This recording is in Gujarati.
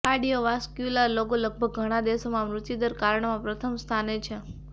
કાર્ડિયોવાસ્ક્યુલર રોગો લગભગ ઘણા દેશોમાં મૃત્યુદર કારણોમાં પ્રથમ સ્થાને છે